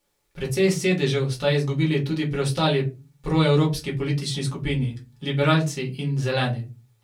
Precej sedežev sta izgubili tudi preostali proevropski politični skupini, liberalci in Zeleni.